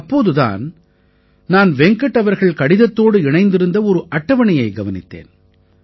அப்போது தான் நான் வெங்கட் அவர்கள் கடிதத்தோடு இணைத்திருந்த ஒரு அட்டவணையை கவனித்தேன்